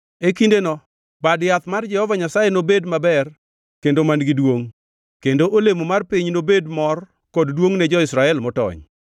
E kindeno Bad Yath mar Jehova Nyasaye nobed maber kendo man-gi duongʼ, kendo olemo mar piny nobed mor kod duongʼ ne jo-Israel motony.